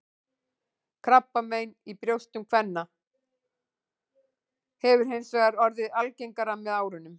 Krabbamein í brjóstum kvenna hefur hins vegar orðið algengara með árunum.